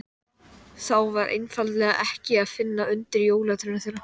Þá var einfaldlega ekki að finna undir jólatrénu þeirra.